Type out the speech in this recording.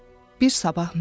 bir sabah mənim.